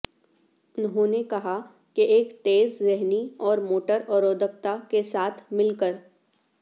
انہوں نے کہا کہ ایک تیز ذہنی اور موٹر اورودگھتا کے ساتھ مل کر